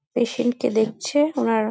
patient -কে দেখছে ওনার --